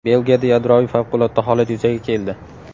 Belgiyada yadroviy favqulodda holat yuzaga keldi.